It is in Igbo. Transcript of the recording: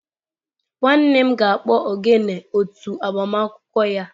Nwannem ga-akpọ ogene otu agbamakwụkwọ ya.